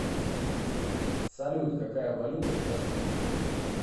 салют какая валюта в ташкенте